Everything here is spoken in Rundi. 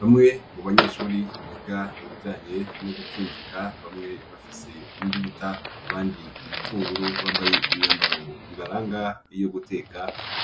Bamwe mu banyeshuri biga ibijanye no gukinjika bamwe bafise imbugita abandi ibitunguru babaye imyambaro ibaranga iyo guteka,